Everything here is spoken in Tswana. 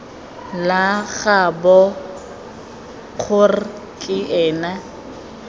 la gaabo kgr ke ena